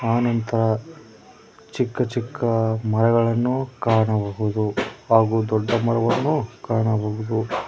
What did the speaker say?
ಆನಂತರ ಚಿಕ್ಕ ಚಿಕ್ಕ ಮರಗಳನ್ನು ಕಾಣಬಹುದು ಹಾಗು ದೊಡ್ಡ ಮರವನ್ನು ಕಾಣಬಹುದು.